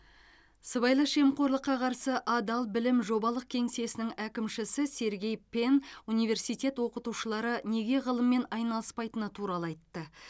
сыбайлас жемқорлыққа қарсы адал білім жобалық кеңсесінің әкімшісі сергей пен университет оқытушылары неге ғылыммен айналыспайтыны туралы айтты